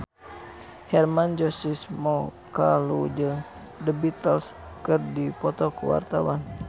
Hermann Josis Mokalu jeung The Beatles keur dipoto ku wartawan